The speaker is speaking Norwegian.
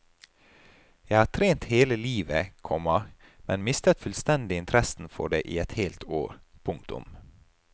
Jeg har trent hele livet, komma men mistet fullstendig interessen for det i et helt år. punktum